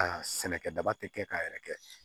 Aa sɛnɛkɛdaba tɛ kɛ k'a yɛrɛ kɛ